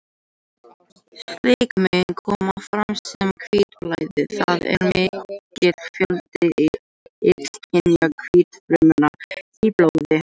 Slík mein koma fram sem hvítblæði, það er mikill fjöldi illkynja hvítfrumna í blóði.